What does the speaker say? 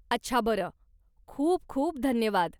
अच्छा, बरं. खूप खूप धन्यवाद.